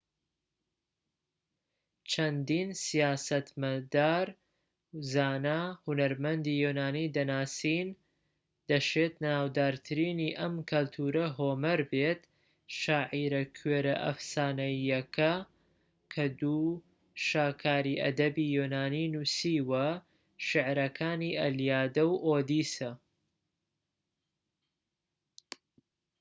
چەندین سیاسەتمەدار زانا و هونەرمەندی یۆنانی دەناسین دەشێت ناودارترینی ئەم کەلتورە هۆمەر بێت شاعیرە کوێرە ئەفسانەییەکە کە دوو شاکاری ئەدەبی یۆنانی نووسیوە شیعرەکانی ئەلیادە و ئۆدیسە